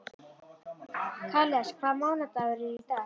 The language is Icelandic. Karles, hvaða mánaðardagur er í dag?